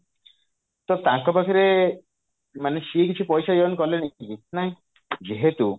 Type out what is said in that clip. ତ ତାଙ୍କ ପାଖରେ ମାନେ ସିଏ କିଛି ପଇସା earn କଲେଣି କି ନାଇଁ ଯେହେତୁ